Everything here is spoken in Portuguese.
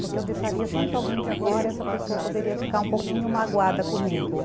Porque eu deixaria sempre alguém de fora e essa pessoa poderia ficar um pouquinho magoada comigo.